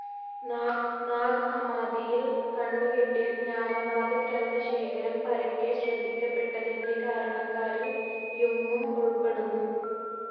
നാഗ്‌ ഹമ്മാദിയിൽ കണ്ടു കിട്ടിയ ജ്ഞാനവാദ ഗ്രന്ഥശേഖരം പരക്കെ ശ്രദ്ധിക്കപ്പെട്ടതിന്റെ കാരണക്കാരിൽ യുങ്ങും ഉൾപ്പെടുന്നു.